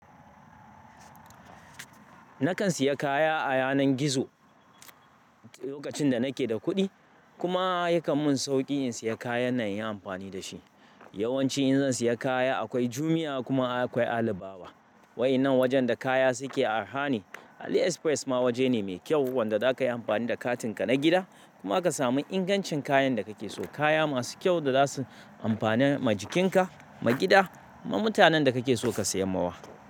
Nakan siya kaya a yanar gizo lokacin da nake da kuɗi. Kuma yakan mun sauƙi in siya kayan nan in yi amfani da shi. Yawanci in zan siya kaya akwai Jumia kuma akwai Alibaba. Waƴannan wajen da kaya suke arha ne. AliExpress ma waje ne mai kyau wanda zaka yi amfani da katinka na gida kuma ka samu ingancin kayan da kake so. Kaya masu kyau da zasu amfana ma jikinka, ma gida, ma mutanen da kake so ka siyar mawa.